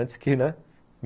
Antes que, né?